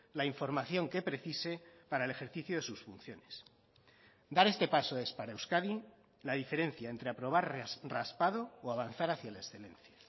la información que precise para el ejercicio de sus funciones dar este paso es para euskadi la diferencia entre aprobar raspado o avanzar hacia la excelencia